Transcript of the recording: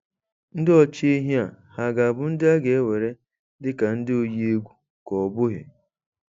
Ndị ọchị ehi a, ha ga-abụ ndị a na-ewere dị ka ndị oyi egwu ka ọ bụghị?